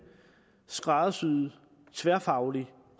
skræddersyet tværfaglig